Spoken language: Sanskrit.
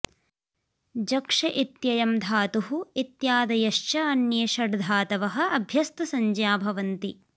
जक्ष इत्ययं धातुः इत्यादयश्च अन्ये षट् धातवः अभ्यस्तसंज्ञा भवन्ति